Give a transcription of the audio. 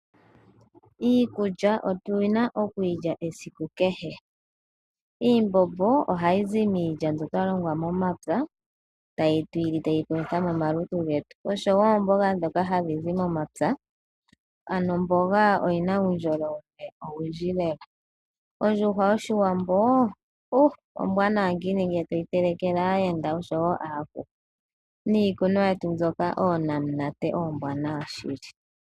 Iikulya otu na okuyi lya esiku kehe. Iimbombo ohayi zi miilya mbyoka twa longa momapya, tatu yi li tayi palutha omalutu getu, oshowo oomboga dhoka hadhi zi momapya, ano omboga oyina uundjolowele owundji lela. Ondjuhwa yoshiwambo, ombwanawa ngiini ngele toyi telekele aayenda oshowo aantu niikunwa yetu mbyoka, oonamunate oombwanawa shili.